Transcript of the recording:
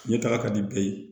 Ɲɛtaga ka di bɛɛ ye